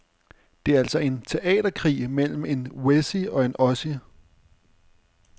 Det er altså en teaterkrig mellem en wessie og en ossie.